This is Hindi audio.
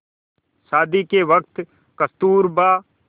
शादी के वक़्त कस्तूरबा